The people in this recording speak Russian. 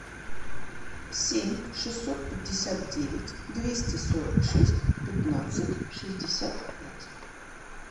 семь шестьсот пятьдесят девять двести сорок шесть пятнадцать шестьдесят пять